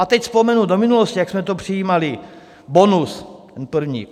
A teď vzpomenu do minulosti, jak jsme to přijímali - Bonus, ten první.